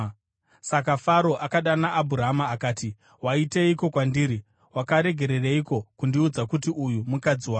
Saka Faro akadana Abhurama akati, “Waiteiko kwandiri? Wakaregereiko kundiudza kuti uyu mukadzi wako?